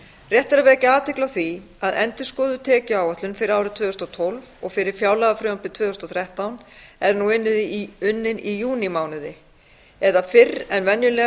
rétt er að vekja athygli á því að endurskoðuð tekjuáætlun fyrir árið tvö þúsund og tólf og fyrir fjárlagafrumvarpið tvö þúsund og þrettán er nú unnin í júnímánuði það er fyrr en venjulega